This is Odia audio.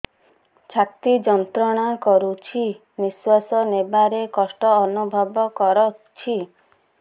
ଛାତି ଯନ୍ତ୍ରଣା କରୁଛି ନିଶ୍ୱାସ ନେବାରେ କଷ୍ଟ ଅନୁଭବ କରୁଛି